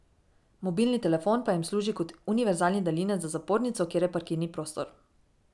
Mobilni telefon pa jim služi kot univerzalni daljinec za zapornico, kjer je parkirni prostor.